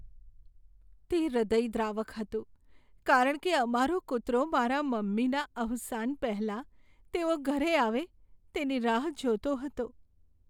તે હૃદયદ્રાવક હતું કારણ કે અમારો કૂતરો મારાં મમ્મીના અવસાન પહેલાં તેઓ ઘરે આવે તેની રાહ જોતો હતો.